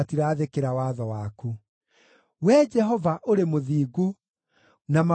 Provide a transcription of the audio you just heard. Wee Jehova, ũrĩ mũthingu, na mawatho maku nĩmagĩrĩire.